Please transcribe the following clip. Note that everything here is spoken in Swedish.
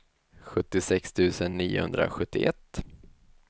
sjuttiosex tusen niohundrasjuttioett